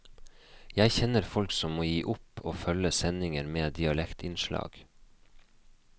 Jeg kjenner folk som må gi opp å følge sendinger med dialektinnslag.